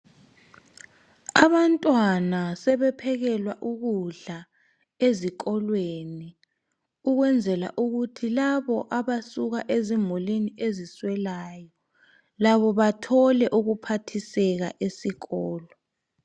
Abantwana sebephekelwa ukudla ezikolweni ukwenzela ukuthi labo abasuka ezimulini eziswelayo labo bathole ukuphathiseka Eskolo.